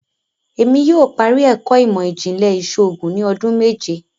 Èmi yóò parí ẹkọ imọ-jinlẹ iṣoògùn ni ọdún méje